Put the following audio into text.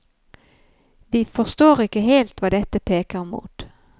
Vi forstår ikke helt hva dette peker mot.